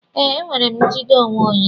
Ee, enwere m njide onwe onye.